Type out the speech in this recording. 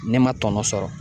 Ne ma tɔnɔ sɔrɔ